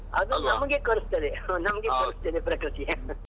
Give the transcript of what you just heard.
ನಮಗೆ ಕಲಿಸುತ್ತದೆ ಕಲಿಸುತ್ತದೆ ಪ್ರಕೃತಿ .